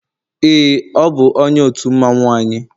ee, ọ bụ onye otu mmanwu anyi